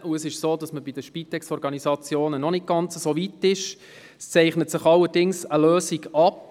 Bei den SpitexOrganisationen ist man zwar noch nicht ganz so weit, aber es zeichnet sich auch dort eine Lösung ab.